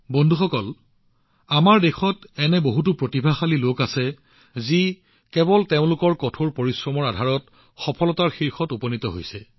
বন্ধুসকল আমাৰ দেশত এনে বহুতো প্ৰতিভাশালী লোক আছে যিয়ে তেওঁলোকৰ কঠোৰ পৰিশ্ৰমৰ জৰিয়তে সফলতাৰ শীৰ্ষত উপনীত হৈছে